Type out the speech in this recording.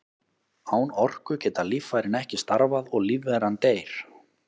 Án orku geta líffærin ekki starfað og lífveran deyr.